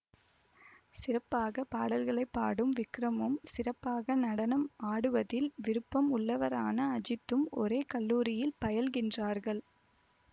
சிறப்பாக பாடல்களை பாடும் விக்ரமும் சிறப்பாக நடனம் ஆடுவதில் விருப்பம் உள்ளவரான அஜித்தும் ஒரே கல்லூரியில் பயில்கின்றார்கள்